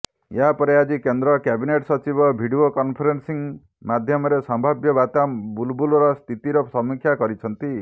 ଏହାପରେ ଆଜି କେନ୍ଦ୍ର କ୍ୟାବିନେଟ୍ ସଚିବ ଭିଡିଓ କନଫେରେନ୍ସିଂ ମାଧ୍ୟମରେ ସମ୍ଭାବ୍ୟ ବାତ୍ୟା ବୁଲବୁଲ ସ୍ଥିତିର ସମୀକ୍ଷା କରିଛନ୍ତି